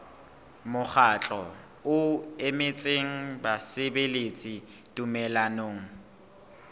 mokgatlo o emetseng basebeletsi tumellanong